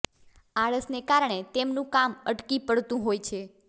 આળસને કારણે તેમનું કામ અટકી પડતું હોય છે